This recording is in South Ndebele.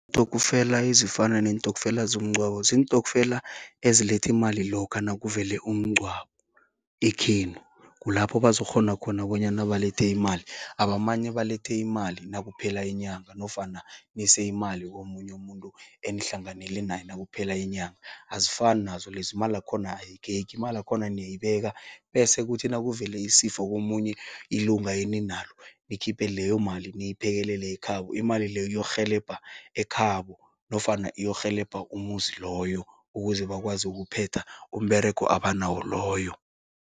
Iintokfela ezifana neentokfela zomngcwabo, ziintokfela eziletha imali lokha nakuvele umngcwabo ekhenu. Kulapho bazokghona khona bonyana balethe imali. Abamane balethe imali nakuphela inyanga, nofana nise imali komunye umuntu, enihlanganele naye nakuphela inyanga. Azifani nazo lezo, imalakhona ayigegi, imalakhona niyayibeka, bese kuthi nakuvele isifo komunye ilunga eninalo, nikhiphe leyo mali niyiphekelele ekhabo. Imali leyo iyorhelebha ekhabo, nofana iyorhelebha umuzi loyo, ukuze bakwazi ukuphetha umberego abanawo loyo.